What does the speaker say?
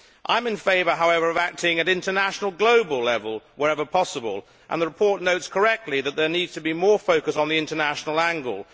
I am in favour, however, of acting at international global level wherever possible, and the report notes correctly that there needs to be more focus on the international angle.